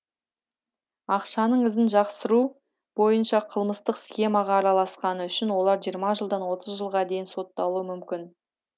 ақшаның ізін жасыру бойынша қылмыстық схемаға араласқаны үшін олар жиырма жылдан отыз жылға дейін сотталуы мүмкін